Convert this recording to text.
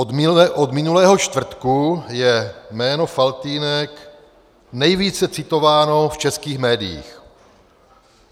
Od minulého čtvrtku je jméno Faltýnek nejvíce citováno v českých médiích.